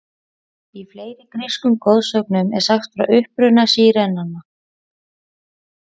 Í fleiri grískum goðsögnum er sagt frá uppruna sírenanna.